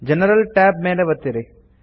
general tab ಮೇಲೆ ಒತ್ತಿರಿ